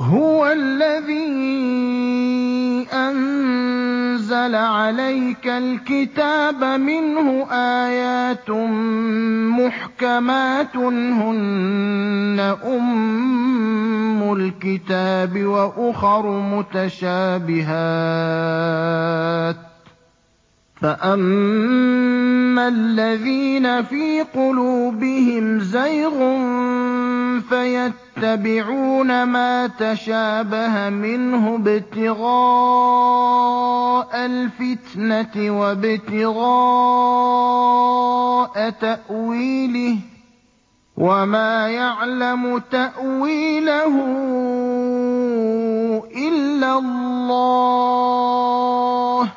هُوَ الَّذِي أَنزَلَ عَلَيْكَ الْكِتَابَ مِنْهُ آيَاتٌ مُّحْكَمَاتٌ هُنَّ أُمُّ الْكِتَابِ وَأُخَرُ مُتَشَابِهَاتٌ ۖ فَأَمَّا الَّذِينَ فِي قُلُوبِهِمْ زَيْغٌ فَيَتَّبِعُونَ مَا تَشَابَهَ مِنْهُ ابْتِغَاءَ الْفِتْنَةِ وَابْتِغَاءَ تَأْوِيلِهِ ۗ وَمَا يَعْلَمُ تَأْوِيلَهُ إِلَّا اللَّهُ ۗ